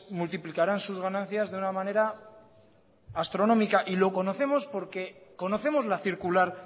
multiplicarán sus ganancias de una manera astronómica lo conocemos porque conocemos la circular